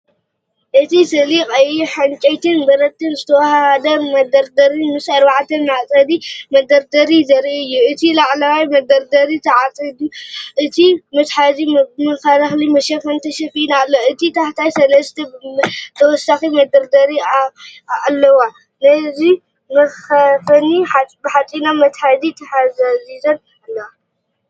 እቲ ስእሊ ቀይሕ ዕንጨይትን ብረትን ዝተዋሃሃደ መደርደሪ ምስ ኣርባዕተ መዕጸዊ መደርደሪታት ዘርኢ እዩ። እቲ ላዕለዋይ መደርደሪ ተዓጽዩ፣ እቲ መትሓዚ ብመከላኸሊ መሸፈኒ ተሸፊኑ ኣሎ። ኣብ ታሕቲ ሰለስተ ተወሳኺ መደርደሪታት ኣለዋ፣ ነፍሲ ወከፈን ብሓጺናዊ መትሓዚ ተታሒዘን ኣለዋ።